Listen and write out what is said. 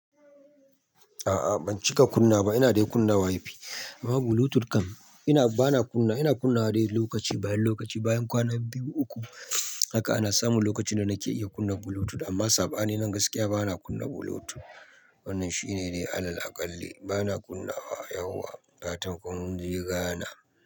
A'a ban cika kunna wa ba, ina dai kunna Wi-Fi, amma Bluetooth kam, bana kunna, ina kunna wa dai lokaci bayan lokaci, bayan kwana biyu uku haka ana samu lokacin da nake iya kunna Bluetooth, amma saɓanin nan gaskiya bana kunna Bluetooth. Wannan shine dai alal aƙalli, bana kunna wa yauwa, fatan kun je Ghana.